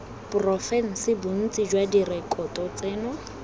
porofense bontsi jwa direkoto tseno